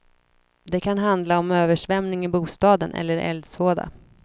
Det kan handla om översvämning i bostaden eller eldsvåda.